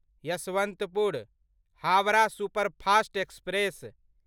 Yesvantpur Howrah superfast express